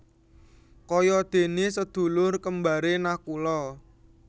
Kaya déné sedulur kembaré Nakula